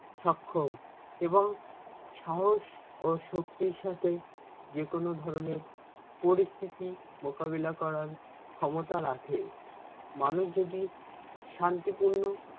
সক্ষম এবং সাহস ও শক্তির সাথে যেকোনো ধরণের পরিস্থিতি মোকাবেলা করার ক্ষমতা রাখে। মানুষ যদি শান্তিপূর্ণ